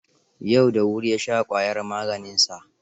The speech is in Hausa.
Yau da wuri ya sha ƙwayar maganinsa.